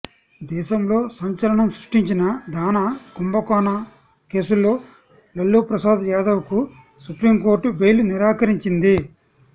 దేశంలో సంచలనం సృష్టించిన దాణా కుంభకోణం కేసుల్లో లాలూ ప్రసాద్ యాదవ్కు సుప్రీంకోర్టు బెయిల్ నిరాకరించింది